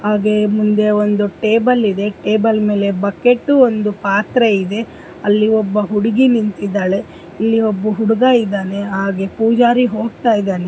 ಹಾಗೆ ಮುಂದೆ ಒಂದು ಟೇಬಲ್ ಇದೆ. ಟೇಬಲ್ ಮೇಲೆ ಬಕೆಟ್ ಒಂದು ಪಾತ್ರೆ ಇದೆ. ಅಲ್ಲಿ ಒಬ್ಬ ಹುಡುಗಿ ನಿಂತಿದ್ದಾಳೆ ಇಲ್ಲಿ ಒಬ್ಬ ಹುಡುಗ ಇದಾನೆ ಹಾಗೆ ಪೂಜಾರಿ ಹೋಗ್ತಾಯಿದಾನೆ.